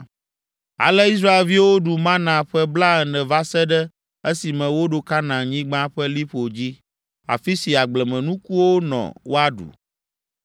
Ale Israelviwo ɖu “mana” ƒe blaene va se ɖe esime woɖo Kanaanyigba ƒe liƒo dzi, afi si agblemenukuwo nɔ woaɖu.